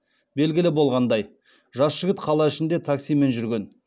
белгілі болғандай жас жігіт қала ішінде таксимен жүрген